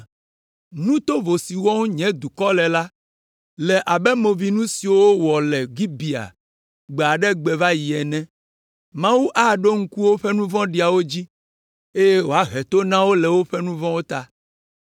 Nu tovo siwo wɔm nye dukɔ le la, le abe movinu siwo wowɔ le Gibea gbe aɖe gbe va yi ene. Mawu aɖo ŋku woƒe nu vɔ̃ɖiwo dzi, eye wòahe to na wo le woƒe nu vɔ̃wo ta.